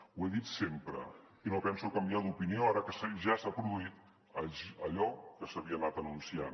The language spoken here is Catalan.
ho he dit sempre i no penso canviar d’opinió ara que ja s’ha produït allò que s’havia anat anunciant